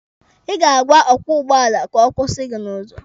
Ị ga-agwa ọkwọ ụgbọala ka ọ kwụsị gị n'ụzọ.